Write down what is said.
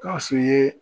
Gawusu ye